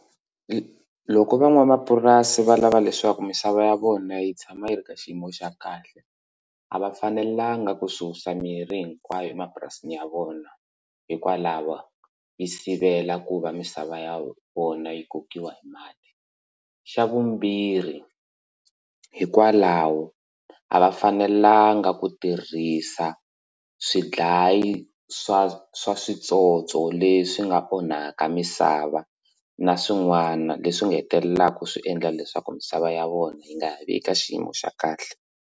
Loko van'wamapurasi va lava leswaku misava ya vona yi tshama yi ri ka xiyimo xa kahle a va fanelanga ku susa mirhi hinkwayo emapurasini ya vona hikwalaho yi sivela ku va misava ya vona yi kokiwa hi mali xa vumbirhi hikwalaho a va fanelanga ku tirhisa swidlayi swa swa switsotso leswi nga onhaka misava na swin'wana leswi nga hetelelaka swi endla leswaku misava ya vona yi nga ha vi eka xiyimo xa kahle.